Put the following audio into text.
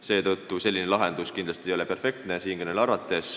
Seetõttu ei ole selline lahendus siinkõneleja arvates kindlasti perfektne.